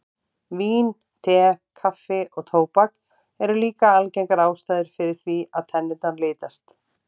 Vín, te, kaffi og tóbak eru líka algengar ástæður fyrir því að tennurnar litast.